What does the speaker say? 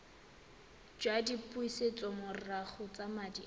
jwa dipusetsomorago tsa madi a